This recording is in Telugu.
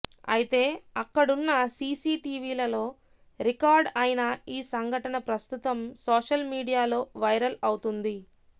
అయితే అక్కడున్న సీసీ టీవీలలో రికార్డ్ అయిన ఈ సంఘటన ప్రస్తుతం సోషల్ మీడియాలో వైరల్ అవుతుంది